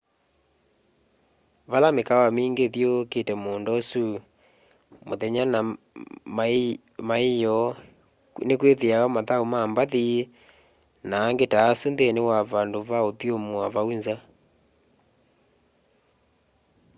ve mikaawa mingi ithyuukite muunda usu na muthenya na maiyoo nikwithiawa mathau ma mbathi na angi ta asu nthini wa vandu va uthumua vau nza